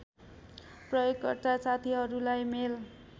प्रयोगकर्ता साथीहरुलाई मेल